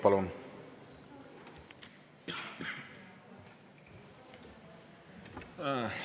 Palun!